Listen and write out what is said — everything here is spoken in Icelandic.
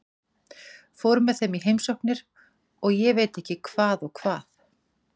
Fór með þeim í heimsóknir og ég veit ekki hvað og hvað.